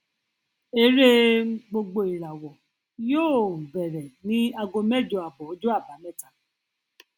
eré um gbogboìràwọ yóò um bẹrẹ ní ago mẹjọ abọ ọjọ àbámẹta